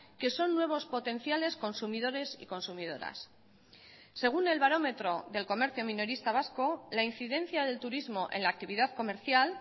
que son nuevos potenciales consumidores y consumidoras según el barómetro del comercio minorista vasco la incidencia del turismo en la actividad comercial